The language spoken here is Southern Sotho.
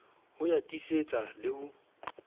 ho ya tiisetsa le ho